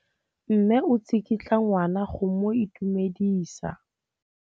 Mme o tsikitla ngwana go mo itumedisa.